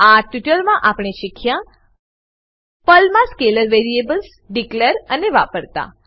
આ ટ્યુટોરીયલ માં આપણે શીખ્યા પર્લમા સ્કેલર વેરિએબલ્સ ડીકલેર અને વાપરતા